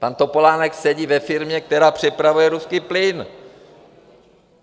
Pan Topolánek sedí ve firmě, která přepravuje ruský plyn!